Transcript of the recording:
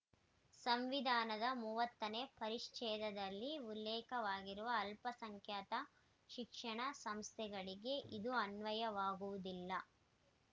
ಸಂವಿಧಾನದ ಮೂವತ್ತನೇ ಪರಿಚ್ಛೇದದಲ್ಲಿ ಉಲ್ಲೇಖವಾಗಿರುವ ಅಲ್ಪಸಂಖ್ಯಾತ ಶಿಕ್ಷಣ ಸಂಸ್ಥೆಗಳಿಗೆ ಇದು ಅನ್ವಯವಾಗುವುದಿಲ್ಲ